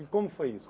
E como foi isso?